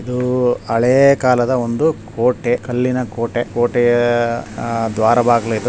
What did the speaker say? ಇದು ಒಂದು ಹಳೆ ಕಾಲದ ಒಂದು ಕೋಟೆ ಕಲ್ಲಿನ ಕೋಟೆ ಕೋಟೆಯ ದ್ವಾರ ಬಾಗಿಲು ಇದು .